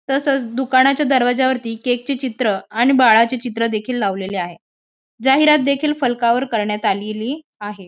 तसंच दुकानाच्या दरवाजावरती केकचे चित्र आणि बाळाचे चित्र देखील लावलेले आहे. जाहिरात देखील फलकावर करण्यात आलेली आहे.